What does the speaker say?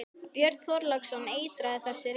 Björn Þorláksson: Eitraður þessi reykur?